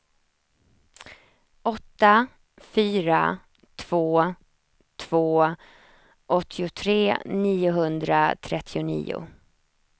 åtta fyra två två åttiotre niohundratrettionio